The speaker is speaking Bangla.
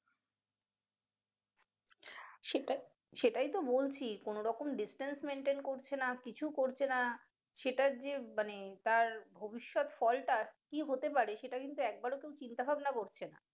সেটা~সেটাইতো বলছি কোন রকম distance maintain করছে নাহ কিছু করছে না সেটা যে মানে তার ভবিষ্যৎ ফল টা কি হতে পারে সেটা কিন্তু একবারো কেউ চিন্তা ভাবনা করছে না